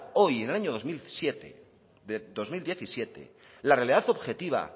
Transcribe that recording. hoy en el año dos mil diecisiete la realidad objetiva